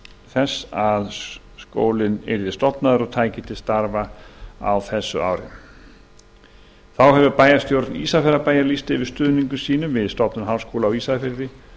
þess að skólinn yrði stofnaður og tæki til starfa á þessu ári þá hefur bæjarstjórn ísafjarðarbæjar lýst yfir stuðningi sínum við stofnun háskóla á ísafirði